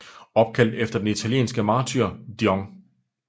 Opkaldt efter den italienske martyr Dion